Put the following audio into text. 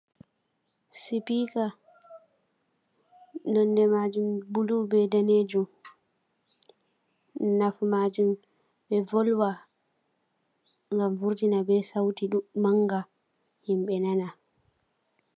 Sibika nonde majum bulu be danejum nafu majum ɓe volwa gam vortina be sauti manga himɓe nana.